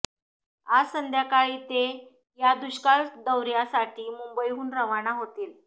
आज संध्याकाळी ते या दुष्काळ दौर्यासाठी मुंबईहून रवाना होतील